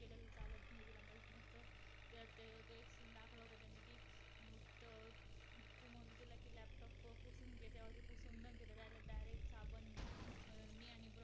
अरुंद दत्ताने बाल म्हणजे सोळा वर्षा पेक्षा कमी वयाचा व वृद्ध म्हणजे सत्तर वर्षापेक्षा जास्त वयाचा असा अर्थ घेतलेला आहे . परंतु सध्या शाळकरी मुली सर्व व्यायाम करतात.